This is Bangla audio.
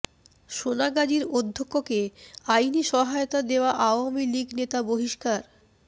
সোনাগাজীর অধ্যক্ষকে আইনি সহায়তা দেয়া আওয়ামী লীগ নেতা বহিষ্কার